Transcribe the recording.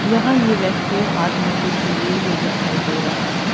यहां ये व्यक्ति हाथ में कुछ लिए हुए दिखाई दे रहा है।